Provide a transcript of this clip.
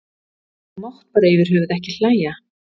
Þú mátt bara yfir höfuð ekki hlæja.